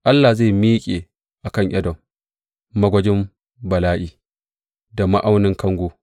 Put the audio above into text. Allah zai miƙe a kan Edom magwajin bala’i da ma’aunin kango.